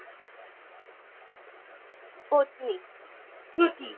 পত্নী প্রতি